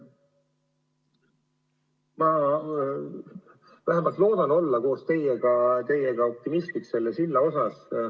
Ma vähemalt loodan olla koos teiega optimistlik selle silla suhtes.